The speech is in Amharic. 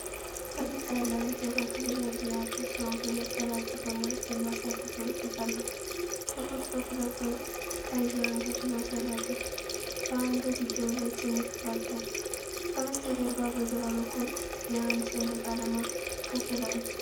ፈገግታ ያለው አንድ መካከለኛ ዕድሜ ያለው ሰው፣ መነጽር አድርጎና ጢም አሳድጎ ይቀርባል። ጥቁር ሱፍ ለብሶ ቀይ የአንገት ማሰሪያ አድርጓል፣ በአንገትጌው ላይ ትንሽ ባጅ አለ። ከበስተጀርባ በግራ በኩል የአንድ ሰንደቅ ዓላማ ክፍል አለ።